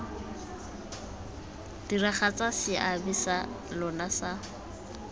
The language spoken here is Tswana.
diragatsa seabe sa lona sa